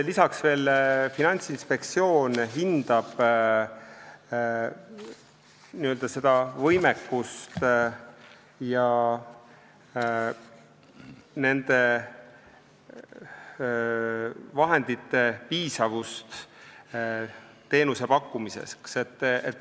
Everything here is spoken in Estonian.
Lisaks hindab Finantsinspektsioon teenusepakkumise võimekust ja vahendite piisavust.